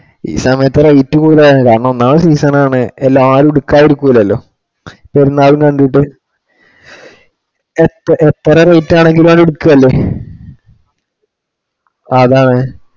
ഈ സമയത്തു rate കൂടുതലാണ്. കാരണം ഒന്നാമത് season ആണ് ആരും എടുക്കാതിരിക്കുല്ലല്ലോ. പെരുന്നാളിന് വേണ്ടീട്ട്. എത്ര rate ആണെങ്കിലും എല്ലാരും എടുക്കുവല്ലേ അതാണ്